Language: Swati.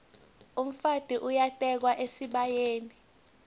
umfati uyatekwa esibayeni